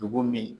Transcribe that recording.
Dugu min